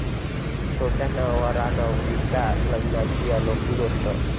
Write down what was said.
छोट्या नवरानवरीच्या लग्नाची अनोखी गोष्टी!